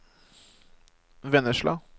Vennesla